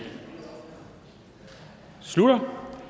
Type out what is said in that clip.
slutter